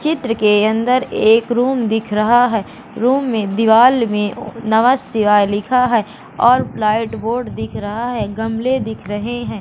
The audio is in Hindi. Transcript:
चित्र के अंदर एक रूम दिख रहा है रूम में दीवाल में नमः शिवाय लिखा है और लाइट बोर्ड दिख रहा है गमले दिख रहे हैं।